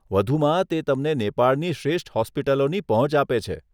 વધુમાં, તે તમને નેપાળની શ્રેષ્ઠ હોસ્પિટલોની પહોંચ આપે છે.